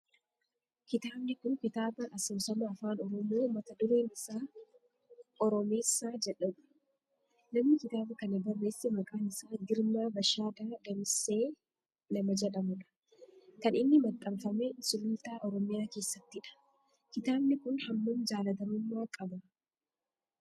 Kitaabni kun kitaaba asoosama afaan oromoo mata dureen isaa oromeessaa jedhudha. Namni kitaaba kana barreesse maqaan isaa Girmaa Bashaadaa Damissee nama jedhamudha. Kan inni maxxanfame sulultaa oromiyaa keessattidha. Kitaabni kun hammam jaalatamummaa qaba?